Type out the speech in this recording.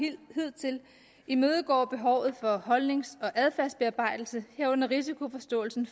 hidtil imødekommer behovet for holdnings og adfærdsbearbejdelse herunder risikoforståelsen